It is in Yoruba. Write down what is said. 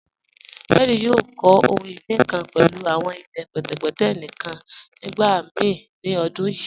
Henry yòò kọ̀ ohun-iní kan pẹ̀lú awọn ilẹ̀ pẹtẹpẹtẹ̀ níkan nígbàmíì ni ọ̀dún yíì.